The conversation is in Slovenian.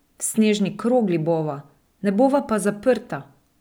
V snežni krogli bova, ne bova pa zaprta.